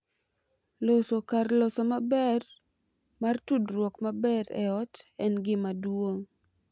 Loso kar loso maber mar tudruok maber e ot en gima duong’